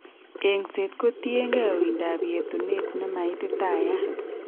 Eng'set kotiengei uindab yetunet nemaititayat